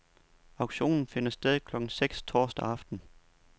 Auktionen finder sted klokken seks torsdag aften.